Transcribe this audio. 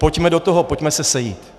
Pojďme do toho, pojďme se sejít.